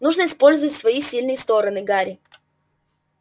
нужно использовать свои сильные стороны гарри